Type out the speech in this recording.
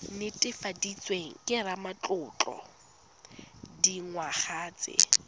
netefaditsweng ke ramatlotlo dingwaga tse